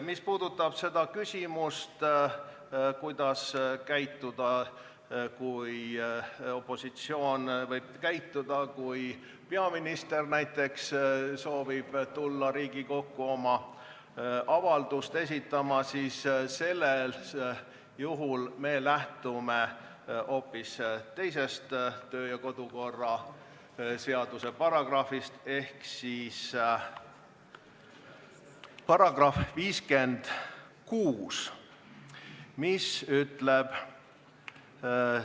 Mis puudutab küsimust, kuidas opositsioon võib käituda näiteks siis, kui peaminister soovib tulla Riigikogu ette oma avaldust esitama, siis sellisel juhul me lähtume hoopis teisest kodu- ja töökorra seaduse paragrahvist ehk §-st 56.